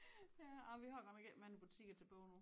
Ja åh vi har godt nok æ mange butikker tilbage nu